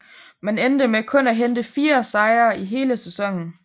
Man endte med kun at hente fire sejre i hele sæsonen